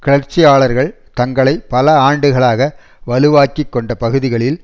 கிளர்ச்சியாளர்கள் தங்களை பல ஆண்டுகளாக வலுவாக்கிக் கொண்ட பகுதிகளில்